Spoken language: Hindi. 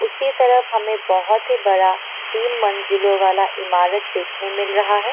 उसी तरफ हमे बहोत ही बड़ा तीन मंजिलों वाला ईमारत देखने मिल रहा हैं।